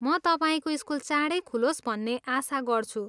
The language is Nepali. म तपाईँको स्कुल चाँडै खुलोस् भन्ने आशा गर्छु।